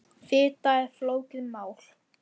Fita er flókið mál.